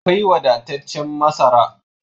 Akwai wadataccen masara